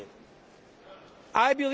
I believe in democracy.